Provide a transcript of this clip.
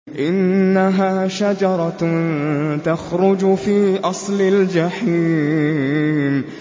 إِنَّهَا شَجَرَةٌ تَخْرُجُ فِي أَصْلِ الْجَحِيمِ